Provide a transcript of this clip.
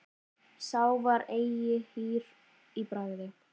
Sá var eigi hýr í bragði.